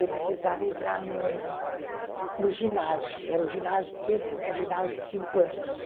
Eu precisava entrar no no ginásio, era o tempo do ginásio de cinco anos.